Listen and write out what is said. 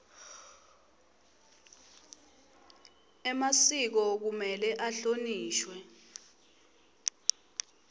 emasiko kumele ahlonishwe